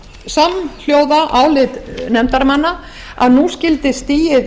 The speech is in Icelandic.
samhljóða álit nefndarmanna að nú skyldi stigið